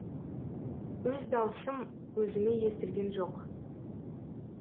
өз дауысым өзіме естілген жоқ